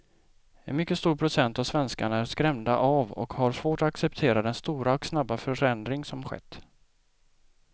En mycket stor procent av svenskarna är skrämda av och har svårt att acceptera den stora och snabba förändring som skett.